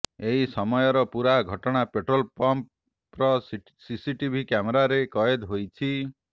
ଏହି ସମୟର ପୂରା ଘଟଣା ପେଟ୍ରୋଲ୍ ପମ୍ପ୍ର ସିସିଟିଭି କ୍ୟାମେରାରେ କଏଦ ହୋଇଛି